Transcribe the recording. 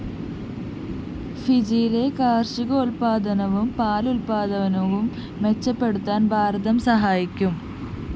ഫിജിയിലെ കാര്‍ഷികോല്‍പ്പാദനവും പാലുല്‍പ്പാദനവും മെച്ചപ്പെടുത്താന്‍ ഭാരതം സഹായിക്കും